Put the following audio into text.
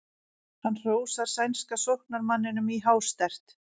Hann hrósar sænska sóknarmanninum í hástert.